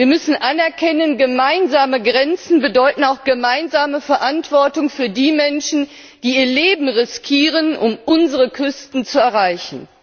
Wir müssen anerkennen Gemeinsame Grenzen bedeuten auch gemeinsame Verantwortung für die Menschen, die ihr Leben riskieren, um unsere Küsten zu erreichen.